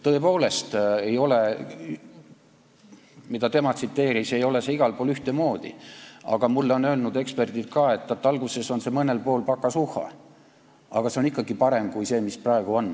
Tõepoolest, nagu ta tsiteeris, ei ole see igal pool ühtemoodi, aga mulle on öelnud ka eksperdid, et alguses on mõnel pool pakasuhha, aga see on ikkagi parem kui see, mis praegu on.